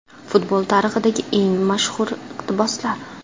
Futbol tarixidagi eng mashhur iqtiboslar.